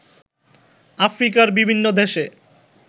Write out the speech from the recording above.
আফ্রিকার বিভিন্ন দেশে